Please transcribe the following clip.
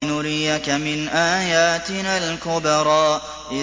لِنُرِيَكَ مِنْ آيَاتِنَا الْكُبْرَى